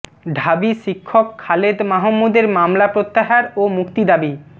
ঢাবি শিক্ষক খালেদ মাহমুদের মামলা প্রত্যাহার ও মুক্তি দাবি